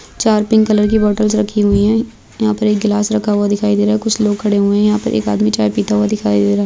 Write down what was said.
चार pink colour की bottles रखी हुई है यहा पर एक ग्लास रखा हुआ दिखाई दे रहा है कुछ लोग खड़े हुये है यहा पर एक आदमी चाय पिता हुआ दिखाई दे रहा है।